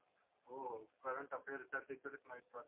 हो करंट अफेअरचा तिकडंच माहित पडतं.